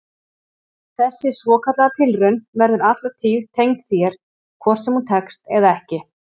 Þessi svokallaða tilraun verður alla tíð tengd þér hvort sem hún tekst eða ekki.